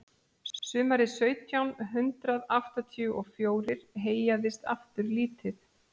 sumarið sautján hundrað áttatíu og fjórir heyjaðist aftur lítið